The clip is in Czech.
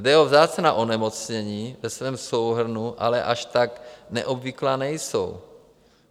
Jde o vzácná onemocnění, ve svém souhrnu ale až tak neobvyklá nejsou.